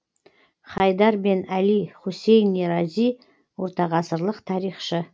хайдар бен әли хусайни рази ортағасырлық тарихшы